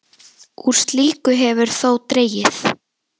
Úr slíku hefur þó dregið.